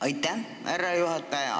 Aitäh, härra juhataja!